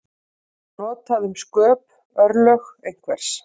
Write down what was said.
Það er notað um sköp, örlög einhvers.